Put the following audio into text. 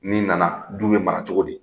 N'i nana du bɛ mara cogo di?